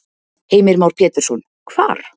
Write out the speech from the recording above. Heimir Már Pétursson: Hvar?